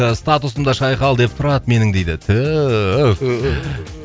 ыыы статусымда шайқал деп тұрады менің дейді